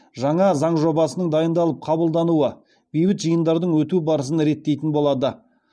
жаңа заң жобасының дайындалып қабылдануы бейбіт жиындардың өту барысын реттейтін болады